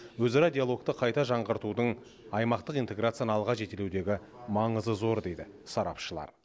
өзара диалогты қайта жаңғыртудың аймақтық интеграцияны алға жетелеудегі маңызы зор дейді сарапшылар